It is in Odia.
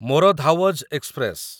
ମୋର ଧାୱଜ ଏକ୍ସପ୍ରେସ